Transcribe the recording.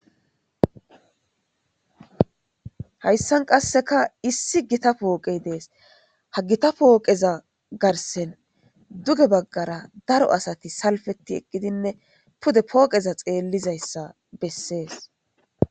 Hayssan qasseka issi gita pooqey dees. ha gita pooqeza garsen duge baggara daro asati salfeti eqqidinne pude pooqeza xeellizayssa bessees.